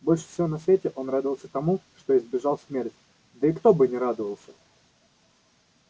больше всего на свете он радовался тому что избежал смерти да и кто бы не радовался